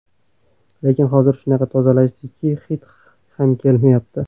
Lekin hozir shunaqa tozalashdiki, hid ham kelmayapti.